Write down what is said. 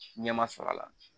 Ɲɛ ma sɔrɔ a la